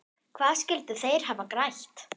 Hvað skyldu þeir hafa grætt?